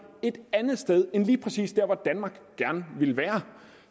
vi et andet sted end lige præcis der hvor danmark gerne ville være